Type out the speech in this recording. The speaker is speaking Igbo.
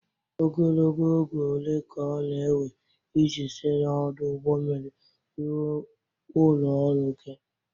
Ogologo oge ole ka ọ na-ewe iji si n'ọdụ ụgbọ mmiri ruo ụlọ ọrụ gị?